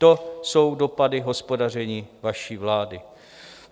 To jsou dopady hospodaření vaší vlády.